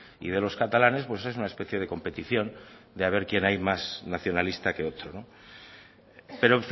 y de los catalanes pues es una especie de competición de a ver quién hay más nacionalista que otro pero